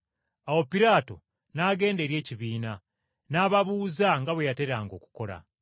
Awo Piraato n’agenda eri ekibiina n’ababuuza nga bwe yateranga okukola.